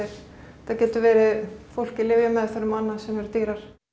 þetta getur verið fólk í lyfjameðferðum sem eru dýrar